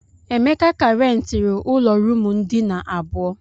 Emeka ka rentiri ụlọ ruumu ndina abụọ.